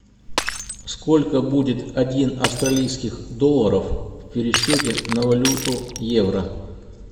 сколько будет один австралийских долларов в пересчете на валюту евро